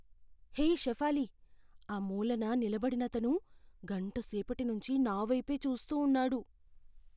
హే షెఫాలీ, ఆ మూలన నిలబడినతను గంటసేపటి నుంచి నావైపే చూస్తూ ఉన్నాడు.